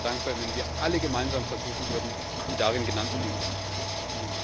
Ich wäre sehr dankbar, wenn wir alle gemeinsam versuchen würden, die darin genannten Dinge auch umzusetzen.